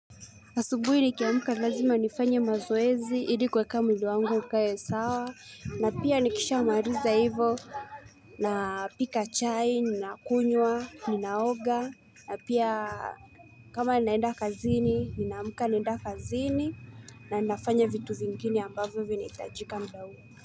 Asubuhi nikiamka lazima nifanye mazoezi ili kweka mwili wangu ukae sawa na pia nikishamaliza hivo napika chai, kunywa, ninaoga, na pia kama ninaenda kazini, ninaamka naenda kazini na ninafanya vitu vingine ambavyo vinihitajika mda huo.